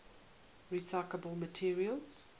recyclable materials